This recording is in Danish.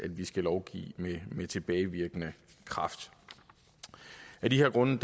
vi skal lovgive med med tilbagevirkende kraft af de her grunde